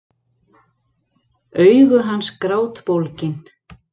Augu hans grátbólgin.